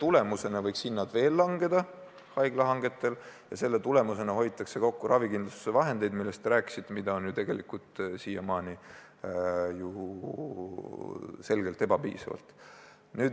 Tulemusena võiks haiglahangetel hinnad veel langeda ja nii hoitaks kokku ravikindlustuse raha, mille kohta te ütlesite, et seda on ju tegelikult ilmselgelt ebapiisavalt.